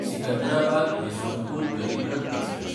सिकंदराबाद–यसवंतपूर गरीब रथ एक्सप्रॅस